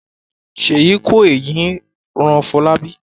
Sheyi ko èeyi ran Folabi.